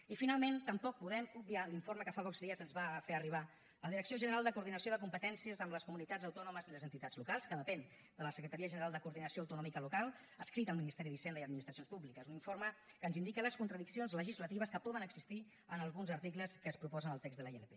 i finalment tampoc podem obviar l’informe que fa pocs dies ens va fer arribar la direcció general de coordinació de competències amb les comunitats autònomes i les entitats locals que depèn de la secretaria general de coordinació autonòmica local adscrita al ministeri d’hisenda i administracions públiques un informe que ens indica les contradiccions legislatives que poden existir en alguns articles que es proposen al text de la ilp